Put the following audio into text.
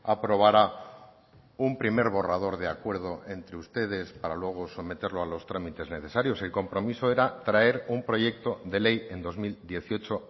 aprobara un primer borrador de acuerdo entre ustedes para luego someterlo a los trámites necesarios el compromiso era traer un proyecto de ley en dos mil dieciocho